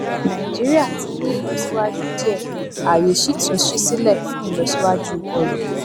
nàìjíríà ti ní ìlọsíwájú díẹ ààyè sì tún sí sílẹ fún ìlọsíwájú ọrọ